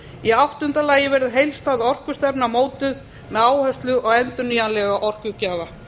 í áttunda lagi verður heildstæð orkustefna mótuð með áherslu á endurnýjanlega orkugjafa